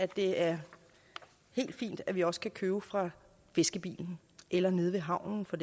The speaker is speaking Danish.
det er helt fint at vi også kan købe fra fiskebilen eller nede ved havnen for